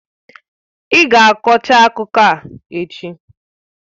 Ị ga kọchaa akụkọ a echi!